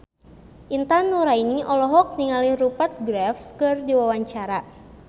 Intan Nuraini olohok ningali Rupert Graves keur diwawancara